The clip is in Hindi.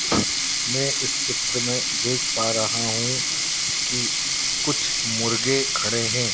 मैं इस चित्र में देख पा रहा हूं कि कुछ मुर्गे खड़े है।